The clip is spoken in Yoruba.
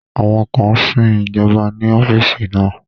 Àwọn kan sin ìjọba ní ọ́fíìsì náà